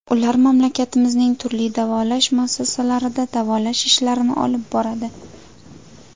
Ular mamlakatimizning turli davolash muassasalarida davolash ishlarini olib boradi.